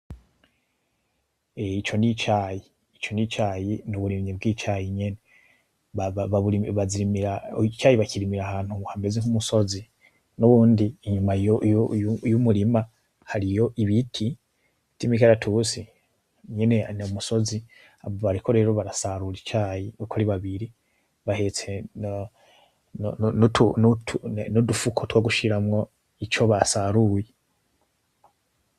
Ico nicayi, ico nicayi, nuburimyi bwicayi nyene, babu, bazirimira, Icayi bakirimira ahantu hameze nkumusozi nuwundi inyuma yumurima hariyo ibiti vyimikaratusi, nyene numusozi urumva bariko barasarura icayi uko bari babiri, bahetse nutu fuko twogushiramwo ico basaruye.